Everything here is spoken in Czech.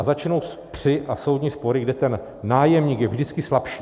A začnou pře a soudní spory, kde ten nájemník je vždycky slabší.